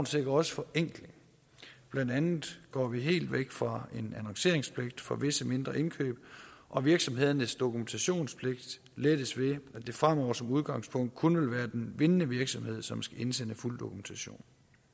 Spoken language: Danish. sikrer også forenkling blandt andet går vi helt væk fra en annonceringspligt for visse mindre indkøb og virksomhedernes dokumentationspligt lettes ved at det fremover som udgangspunkt kun vil være den vindende virksomhed som skal indsende fuld dokumentation